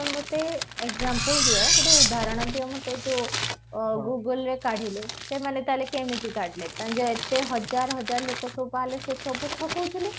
ମତେ ଗୋଟେ example ଦିଅ, ଗୋଟେ ଉଦ୍ଧରଣ ଦିଅ ମତେ ଯୋଉ Google ରେ କାଢିଲେ ତାହେଲେ କେମତି କାଢିଲେ ଯେ ଏତେ ହଜାର ହଜାର ଲୋକ ବାହାରିଲେ ସେ ସବୁ ଠକଉ ଥିଲେ?